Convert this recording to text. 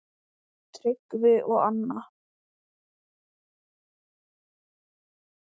Tryggvi og Anna.